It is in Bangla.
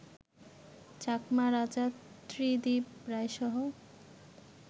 চাকমা রাজা ত্রিদিব রায়সহ